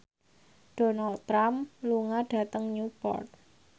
Donald Trump lunga dhateng Newport